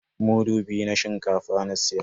Mudu biyu na shinkafa na siya.